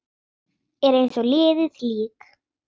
Er eins og liðið lík.